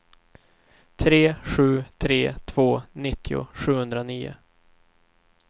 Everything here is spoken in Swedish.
tre sju tre två nittio sjuhundranio